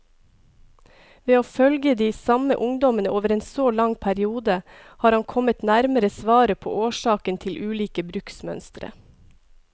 Ved å følge de samme ungdommene over en så lang periode, har han kommet nærmere svaret på årsakene til ulike bruksmønstre.